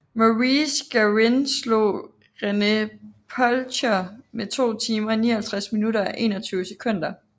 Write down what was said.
Maurice Garin slog René Polthier med 2 timer 59 minutter og 21 sekunder